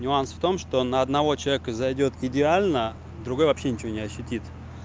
нюанс в том что на одного человека зайдёт к идеально другой вообще ничего не ощутит